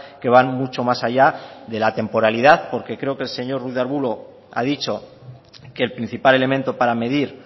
que van mucho más allá de la temporalidad porque creo que el señor ruiz de arbulo ha dicho que el principal elemento para medir